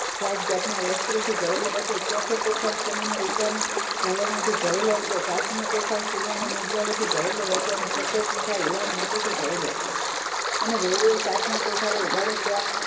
જાત જાતના વસ્ત્રોથી ભરેલો હતો ચોથો કોઠાર ઘરેણા થી ભરેલો હતો પાંચમો કોઠાર સુવર્ણ મુદ્રાઓથી ભરેલો હતો અને છઠ્ઠો કોઠાર હીરા મોતી થી ભરેલો હતો અને વહુએ સાતમા કોઠાર ને ઉગાડયો ત્યાં